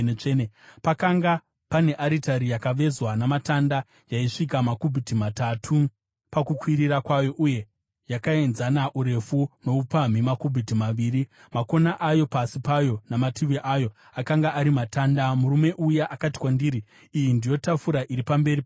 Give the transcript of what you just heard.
Pakanga pane aritari yakavezwa namatanda yaisvika makubhiti matatu pakukwirira kwayo uye yakaenzana urefu noupamhi makubhiti maviri; makona ayo, pasi payo namativi ayo, akanga ari matanda. Murume uya akati kwandiri, “Iyi ndiyo tafura iri pamberi paJehovha.”